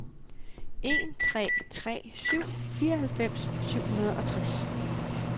en tre tre syv fireoghalvfems syv hundrede og tres